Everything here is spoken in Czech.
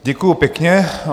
Děkuji pěkně.